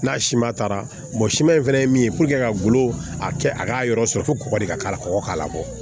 N'a si ma taara siman in fana min ye ka golo a kɛ a k'a yɔrɔ sɔrɔ fo kɔgɔ de ka k'ala kɔkɔ k'a labɔ